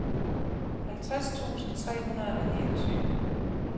halvtreds tusind tre hundrede og niogtyve